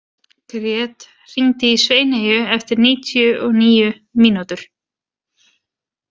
Grét, hringdu í Sveineyju eftir níutíu og níu mínútur.